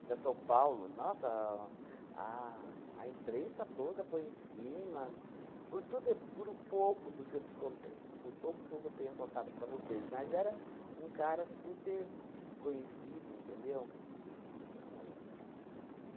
para São Paulo, nossa, a a imprensa toda foi em cima, por tudo, por o pouco do que eu te contei, por pouco que eu co tenha contado para vocês, mas era um cara super conhecido, entendeu? O